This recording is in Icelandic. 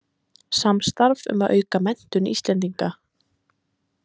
Samstarf um að auka menntun Íslendinga